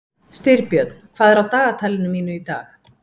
Styrbjörn, hvað er á dagatalinu mínu í dag?